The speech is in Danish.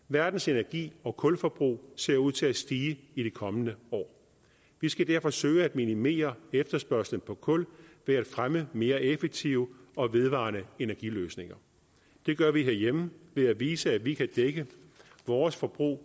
verdens energi og kulforbrug ser ud til at stige i de kommende år vi skal derfor søge at minimere efterspørgslen på kul ved at fremme mere effektive og vedvarende energiløsninger det gør vi herhjemme ved at vise at vi kan dække vores forbrug